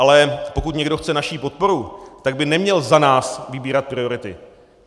Ale pokud někdo chce naši podporu, tak by neměl za nás vybírat priority.